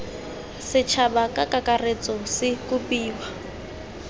setšhaba ka kakaretso se kopiwa